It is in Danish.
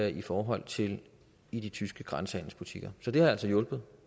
i forhold til i de tyske grænsehandelsbutikker så det har hjulpet